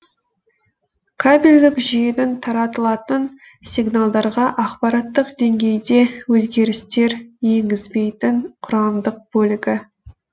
кабельдік жүйенің таратылатын сигналдарға ақпараттық деңгейде өзгерістер енгізбейтін құрамдық бөлігі